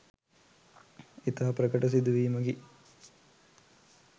ඉතා ප්‍රකට සිදුවීමකි.